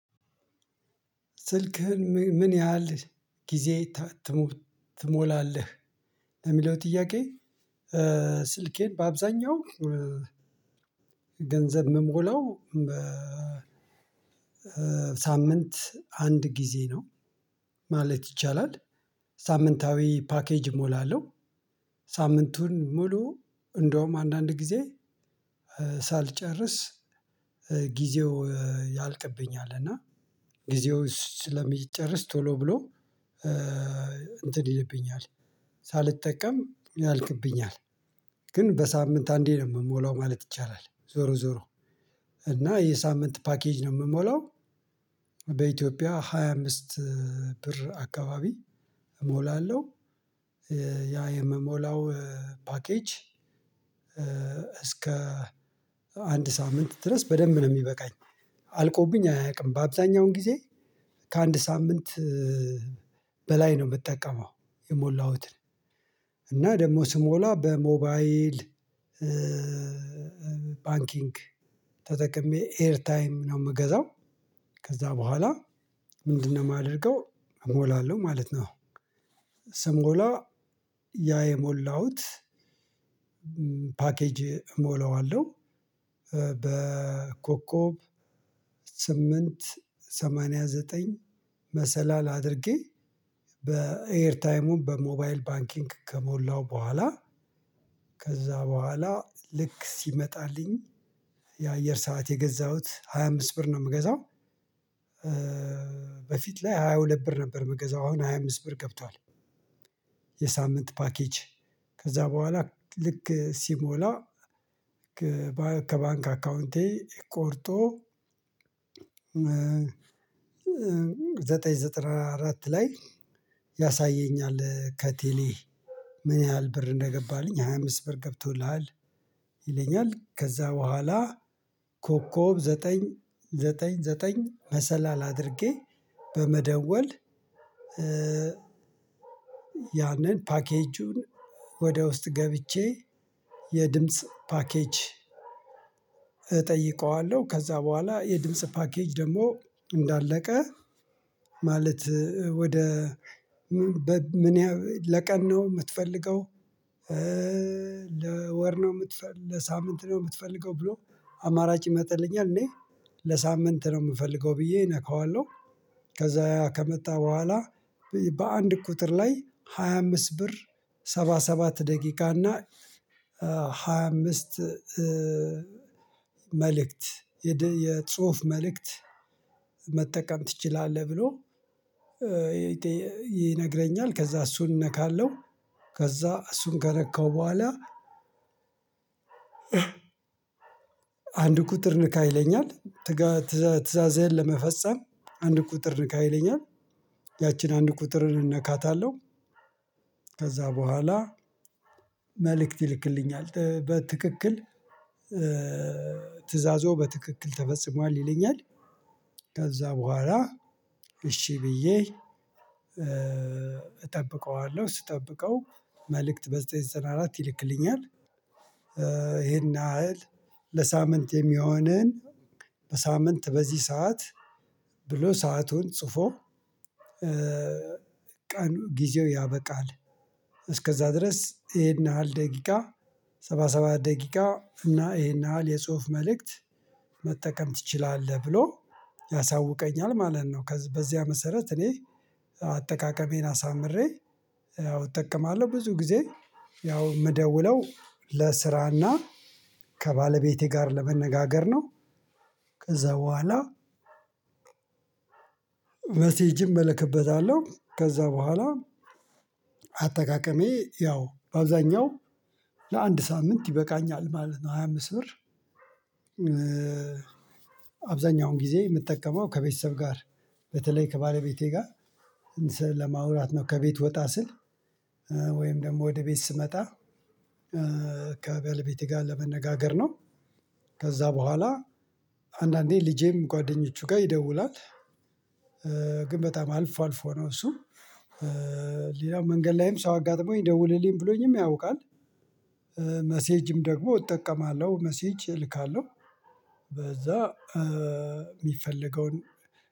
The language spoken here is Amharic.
ስልክህን ምን ያህል ጊዜ ትሞላለህ ለሚለው ጥያቄ? ስልኬን በአብዛኛው ገንዘብ የምሞላው በሳምንት አንድ ጊዜ ነው ማለት ይቻላል። ሳምንታዊ ፓኬጅ እሞላለሁ። ሳምንቱን ሙሉ እንደውም አንዳንድ ጊዜ ሳልጨርስ ጊዜው ያልቅብኝል እና ጊዜው ስለሚጨርስ ቶሎ ብሎ እንትን ይልብኛል ሳልጠቀም ያልቅብኛል። ግን በሳምንት አንዴ ነው የምሞላው ማለት ይቻላል ዞሮ ዞሮ እና የሳምንት ፓኬጅ ነው የምሞላው። በኢትዮጵያ ሃያ አምስት ብር አካባቢ እሞላለሁ። ያ የምሞላው ፓኬጅ እስከ አንድ ሳምንት ድረስ በደንብ ነው የሚበቃኝ አልቆብኝ አያውቅም። በአብዛኛውን ጊዜ ከአንድ ሳምንት በላይ ነው የምጠቀመው። የሞላሁትን እና ደግሞ ስሞላ በሞባይል ባንኪንግ ተጠቅሜ ኤር ታይም ነው የምገዛው። ከዛ በኋላ ምንድነው የማደርገው? እሞላለሁ ማለት ነው። ስሞላ ያ የሞላሁት ፓኬጅ እሞላዋለሁ። በኮኮብ ስምንት ሰማንያ ዘጠኝ መሰላል አድርጌ በኤር ታይሙም በሞባይል ባንኪንግ ከሞላው በኋላ። ከዛ በኋላ ልክ ሲመጣልኝ የአየር ሰዓት የገዛሁት ሃያ አምስት ብር ነው የምገዛው። በፊት ላይ ሃያ ሁለት ብር ነበር የምገዛው አሁን ሃያ አምስት ብር ገብቷል። የሳምንት ፓኬጅ ከዛ በኋላ ልክ ሲሞላ ከባንክ አካውንቴ ቆርጦ ዘጠና አራት ላይ ያሳየኛል። ከቴሌ ምን ያህል ብር እንደገባህልኝ ሃያ አምስት ብር ገብቶልሃል ይለኛል። ከዛ በኋላ ኮከብ ዘጠኝ ዘጠኝ ዘጠኝ መሰላል አድርጌ በመደወል ያንን ፓኬጁን ወደ ውስጥ ገብቼ የድምጽ ፓኬጅ እጠይቀዋለሁ። ከዛ በኋላ የድምጽ ፓኬጅ ደግሞ እንዳለቀ ማለት ወደ ምን ለቀን ነው የምትፈልገው? ለወር ነው የምትፈልገው ለሳምንት ነው የምትፈልገው ብሎ አማራጭ ይመጥልኛል። እኔ ለሳምንት ነው የምፈልገው ብዬ እነካዋለሁ። ከዛ ከመጣ በኋላ በአንድ ቁጥር ላይ ሃያ አምስት ብር ሰባ ሰባት ደቂቃ እና ሃያ አምስት መልእክት የጽሁፍ መልእክት መጠቀም ትችላለህ ብሎ ይነግረኛል። ከዛ እሱን ነካለሁ። ከዛ እሱን ከነካው በኋላ አንድ ቁጥር ንካ ይለኛል። ትዕዛዝህን ለመፈጸም አንድ ቁጥር ንካ ይለኛል። ያችን አንድ ቁጥርን እነካታለሁ። ከዛ በኋላ መልእክት ይልክልኛል በትክክል ትእዛዞ በትክክል ተፈጽሟል ይለኛል። ከዛ በኋላ እሺ ብዬ እጠብቀዋለሁ ስጠብቀው መልእክት በዘጠኝ ዘጠና አራት ይልክልኛል። ይሄን ያህል ለሳምንት የሚሆነን በሳምንት በዚህ ሰዓት ብሎ ሰአቱን ጽፎ ቀኑ ጊዜው ያበቃል። እስከዛ ድረስ ይሄን ያህል ደቂቃ ሰባ ሰባት ደቂቃ እና ይሄን ያህል የጽሁፍ መልእክት መጠቀም ትችላለህ ብሎ ያሳውቀኛል። ማለት ነው በዚያ መሰረት እኔ አጠቃቀሜን አሳምሬ እጠቀማለሁ ብዙ ጊዜ ያው የምደውለው ለስራና ከባለቤቴ ጋር ለመነጋገር ነው። ከዛ በኋላ መሴጅም እለክበታለሁ ከዛ በኋላ አጠቃቀሜ ያው በአብዛኛው ለአንድ ሳምንት ይበቃኛል። ማለት ነው ሃያ አምስት ብር። አብዛኛውን ጊዜ የምጠቀመው ከቤተሰብ ጋር በተለይ ከባለቤቴ ጋር ለማውራት ነው ከቤት ወጣ ስል ወይም ደግሞ ወደ ቤት ስመጣ ከባለ ቤቴ ጋር ለመነጋገር ነው። ከዛ በኋላ አንዳንዴ ልጄም ጓደኞቹ ጋር ይደውላል። ግን በጣም አልፎ አልፎ ነው እሱም ሌላው መንገድ ላይም ሰው አጋጥሞኝ ደውለልኝ ብሎኝም ያውቃል። መሴጅም ደግሞ እጠቀማለሁ መሴጅ እልካለሁ። በዛ የሚፈለገውን